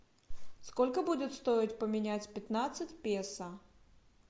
сколько будет стоить поменять пятнадцать песо